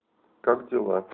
как дела